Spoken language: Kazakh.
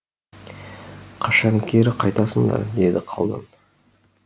қашан кері қайтасыңдар деді қалан